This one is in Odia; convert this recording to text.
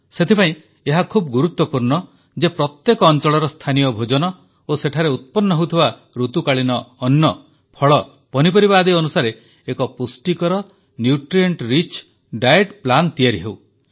ସେଥିପାଇଁ ଏହା ଖୁବ୍ ଗୁରୁତ୍ୱପୂର୍ଣ୍ଣ ଯେ ପ୍ରତ୍ୟେକ ଅଂଚଳର ସ୍ଥାନୀୟ ଭୋଜନ ଓ ସେଠାରେ ଉତ୍ପନ୍ନ ହେଉଥିବା ଋତୁକାଳୀନ ଅନ୍ନ ଫଳ ପନିପରିବା ଆଦି ଅନୁସାରେ ଏକ ପୁଷ୍ଟିକର ଖାଦ୍ୟ ତାଲିକା ତିଆରି ହେଉ